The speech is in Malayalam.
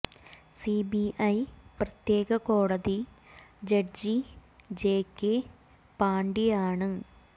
സി ബി ഐ പ്രത്യേക കോടതി ജഡ്ജി ജെ കെ പാണ്ഡ്യയാണ്